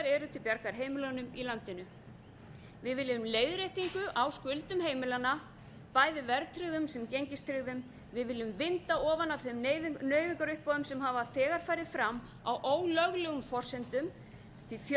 eru til bjargar heimilin í landinu við viljum leiðréttingu á skuldum heimilanna bæði verðtryggðum sem gengistryggðum við viljum vinda ofan af þeim nauðungaruppboðum sem hafa þegar farið fram á ólöglegum forsendum því fjöldi